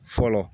Fɔlɔ